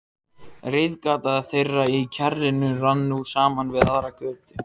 Það hafði komið honum á óvart.